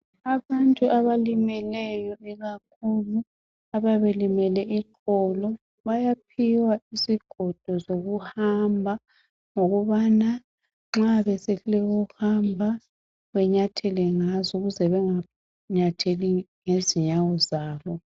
Abantu abalimeleleyo ikakhulu abayabe belimele iqolo bayaphiwa isigodo sokuhamba ngokubana nxa besehluleka ukuhamba benyathele ngazo ukuze benganyatheli ngezinyawo zabo.